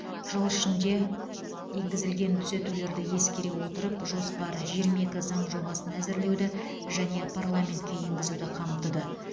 жыл ішінде енгізілген түзетулерді ескере отырып жоспар жиырма екі заң жобасын әзірлеуді және парламентке енгізуді қамтыды